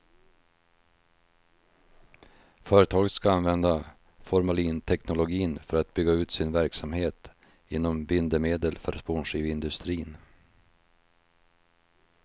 Företaget ska använda formalinteknologin för att bygga ut sin verksamhet inom bindemedel för spånskiveindustrin.